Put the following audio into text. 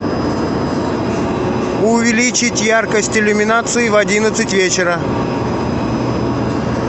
увеличить яркость иллюминации в одиннадцать вечера